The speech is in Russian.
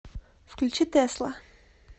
включи тэсла